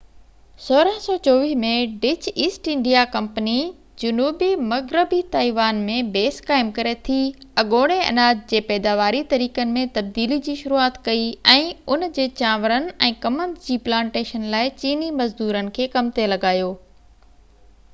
1624 ۾ Dutch East India company جنوبي مغربي Taiwan ۾ base قائم ڪري ٿي اڳوڻي اناج جي پيداواري طريقن ۾ تبديلي جي شروعات ڪئي ۽ ان جي چانورن ۽ ڪمند جي پلانٽيشن لاءِ چيني مزدورن کي ڪم تي لڳايو